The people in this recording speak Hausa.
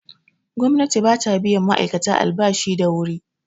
Gwamnati bata biyan ma'aikata albashi da wuri